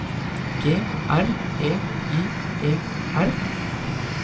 G R E I E R